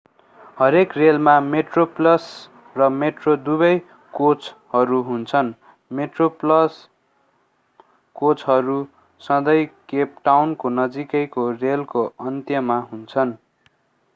हरेक रेलमा मेट्रोप्लस र मेट्रो दुवै कोचहरू हुन्छन् मेट्रोप्लस कोचहरू सधैँ केप टाउनको नजिकैको रेलको अन्त्यमा हुन्छन्